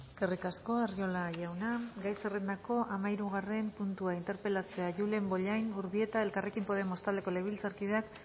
eskerrik asko arriola jauna gai zerrendako hamahirugarren puntua interpelazioa julen bollain urbieta elkarrekin podemos taldeko legebiltzarkideak